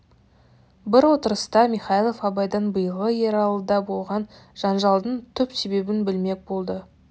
бір отырыста михайлов абайдан биылғы ералыда болған жанжалдың түп себебін білмек болды